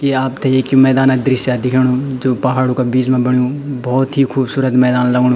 की आपथे एक मैदान क दृश्य दिखेणु जो पहाड़ो का बीच मा बण्युं बहौत ही खुबसूरत मैदान लगणु।